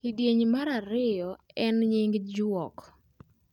kidieny mar ariyo aen nying juok